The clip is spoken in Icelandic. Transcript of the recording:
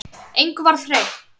Engu varð breytt.